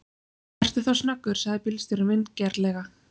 Vertu þá snöggur, sagði bílstjórinn vingjarnlega.